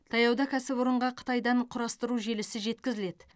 таяуда кәсіпорынға қытайдан құрастыру желісі жеткізіледі